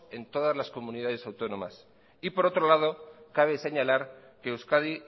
en todas las comunidades autónomas y por otro lado cabe señalar que euskadi